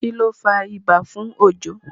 kilo fà ibà fún Ojo?